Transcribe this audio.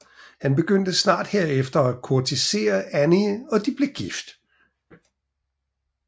Han begyndte snart herefter at kurtisere Annie og de blev gift